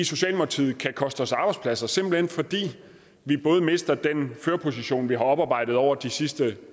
socialdemokratiet kan koste os arbejdspladser simpelt hen fordi vi både mister den førerposition vi har oparbejdet over de sidste